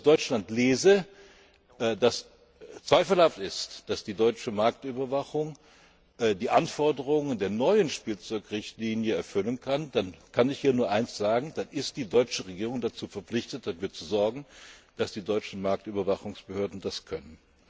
Und wenn ich aus Deutschland lese, dass zweifelhaft ist, dass die deutsche Marktüberwachung die Anforderungen der neuen Spielzeugrichtlinie erfüllen kann, dann kann ich hier nur eines sagen Dann ist die deutsche Regierung dazu verpflichtet, dafür zu sorgen, dass die deutschen Marktüberwachungsbehörden das können.